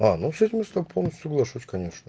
а ну с этим я с тобой полностью соглашусь конечно